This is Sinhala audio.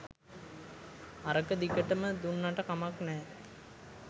අරක දිගටම දුන්නට කමක් නෑ